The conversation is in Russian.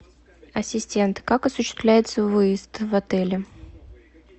ассистент как осуществляется выезд в отеле